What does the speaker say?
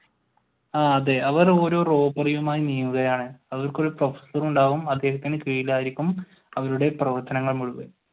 ആഹ് അതെ അവർ ഓരോ robbery യും മായി നീങ്ങുകയാണ്. അവർക്ക് ഒരു ഉണ്ടാകും അദ്ദേഹത്തിന് കീഴിലായിരിക്കും അവരുടെ പ്രവർത്തനങ്ങൾ മുഴുവൻ.